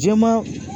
Jɛman